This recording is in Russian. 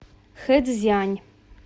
хэцзянь